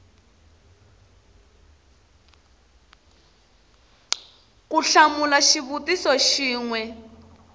ku hlamula xivutiso xin we